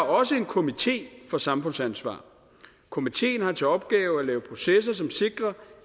også en komité for samfundsansvar komiteen har til opgave at lave processer som sikrer